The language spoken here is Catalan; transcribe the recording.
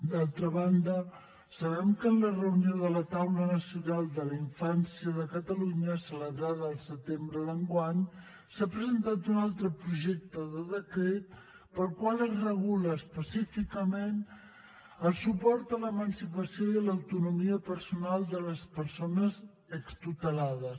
d’altra banda sabem que en la reunió de la taula nacional de la infància de catalunya celebrada al setembre d’enguany s’ha presentat un altre projecte de decret pel qual es regula específicament el suport a l’emancipació i a l’autonomia personal de les persones extutelades